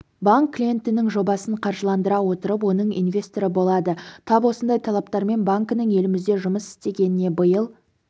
банк клиенттің жобасын қаржыландыра отырып оның инвесторы болады тап осындай талаптармен банкінің елімізде жұмыс істегеніне биыл